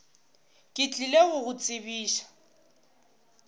ke tlile go go tsebiša